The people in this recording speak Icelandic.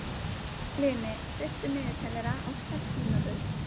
Hlini, stilltu niðurteljara á sex mínútur.